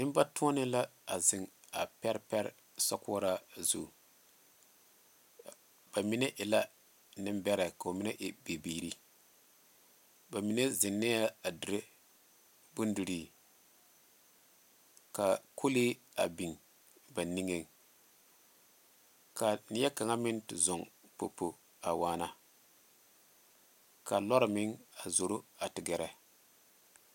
Nenbatoɔne la a zeŋ a pɛre pɛre sokoɔraa zu ba mine e la nembɛrɛ ka ba mine e bibiiri ba mine zeŋɛɛ a dire bondirii ka kɔlee a biŋ ba niŋeŋ ka neɛ kaŋa meŋ a te zɔɔŋ popo a waana ka lɔre meŋ a zoro a te gɛrɛ.